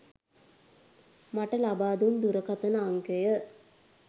මට ලබාදුන් දුරකථන අංකය